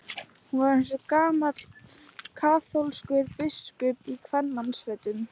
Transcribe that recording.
Hún var eins og gamall kaþólskur biskup í kvenmannsfötum.